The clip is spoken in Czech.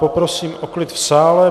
Prosím o klid v sále.